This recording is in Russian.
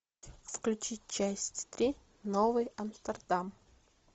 включи часть три новый амстердам